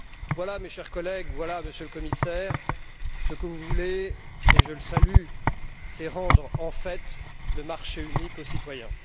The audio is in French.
Voilà, mes chers collègues, voilà, Monsieur le Commissaire, ce que vous voulez et je le salue c'est rendre, en fait, le marché unique aux citoyens.